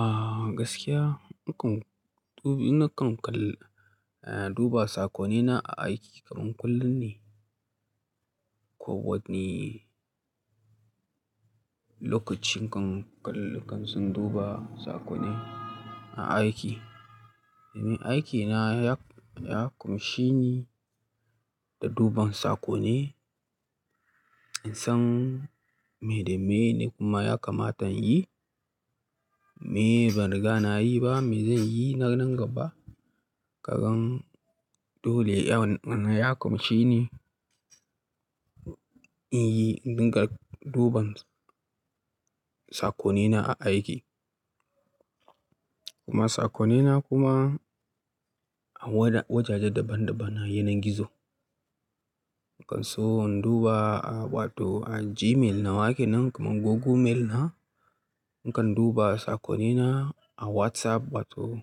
Ah gaskiya, nakan dubi nakan kal-- duba sakonina a aiki kaman kullum ne. Ko wani lokacin kan kal-- kan tsin duba sakonai a aiki. Ni aikina ya, ya kumshi ni da duban sakonai. In san me da me ne kuma ya kamata in yi, me ban riga na yi ba, me zan yi na nan gaba. Kagan dole ya wannan ya kumshi ni in yi dinga duban sakonina a aiki. Kuma sakonina kuma a wajaje daban daban na yanar gizo. Nakan so in duba a wato a Gmail na wake nan kamar Google Mail na. Nakan duba sakonina a WhatsApp wato